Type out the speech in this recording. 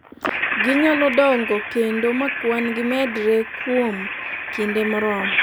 ginyalo dongo kendo ma kwan gi medre kuom kinde moromo